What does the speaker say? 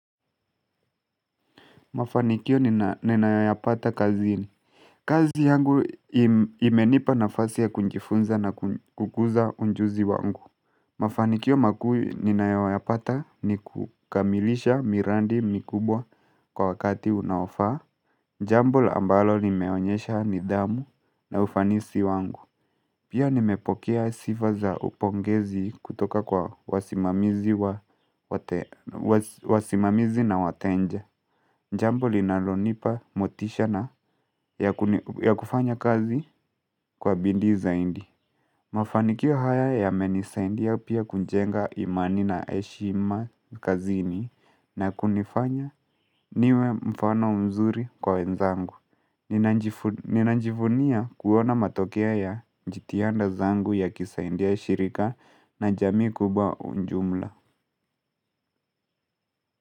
Mafanikio ninayoyapata kazini kazi yangu imenipa nafasi ya kujifunza na kukuza ujuzi wangu Mafanikio makuu ninayo yapata ni kukamilisha miradi mikubwa kwa wakati unaofaa jambo ambalo nimeonyesha nidhamu na ufanisi wangu Pia nimepokea sifa za upongezi kutoka kwa wasimamizi wa wasimamizi na watenja jambo linalonipa motisha na ya kufanya kazi kwa bidii zaidi. Mafanikio haya yamenisaidia pia kujenga imani na heshima kazini na kunifanya niwe mfano mzuri kwa wenzangu. Ninajifu Ninajivunia kuona matokea ya jitihada zangu yakisaidia shirika na jamii kubwa ujumla.